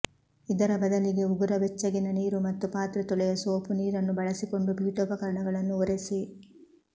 ಇದರ ಬದಲಿಗೆ ಉಗುರ ಬೆಚ್ಚಗಿನ ನೀರು ಮತ್ತು ಪಾತ್ರೆ ತೊಳೆಯುವ ಸೋಪು ನೀರನ್ನು ಬಳಸಿಕೊಂಡು ಪೀಠೋಪಕರಣಗಳನ್ನು ಒರೆಸಿ